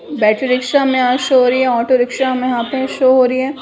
Battery rickshaw हमें यहाँ show हो रही है ऑटो रिक्शा हमें यहाँ पे शो हो रही है।